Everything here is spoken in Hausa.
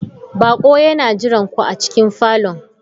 Baƙo yana jiran ku a cikin falon.